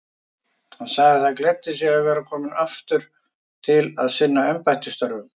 Hann sagði það gleddi sig að vera kominn aftur til að sinna embættisstörfum.